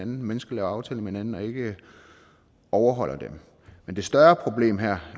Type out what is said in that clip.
mennesker laver aftaler med hinanden og ikke overholder dem men det større problem her